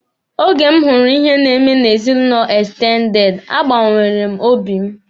Oge m hụrụ ihe na-eme n'ezinụlọ ekstendede, a gbanwere m obi m.